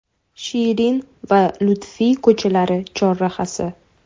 Shirin va Lutfiy ko‘chalari chorrahasi.